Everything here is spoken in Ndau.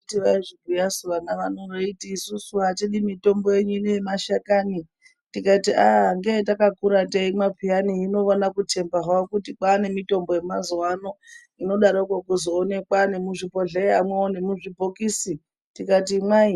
Handiti vaizvibhuya su vana vano vachiti atidi mitombo henyu yemashakani tikati ahh ngeyetakakura teimwa peyani iwona kutemba hawo kuti kwane mitombo yemazuwano inodarokwo kuzoonekwa nemuzvibhodhlera mwo nemuzvibhokisi tikati imwai